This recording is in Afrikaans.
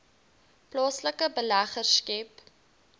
plaaslike beleggers skep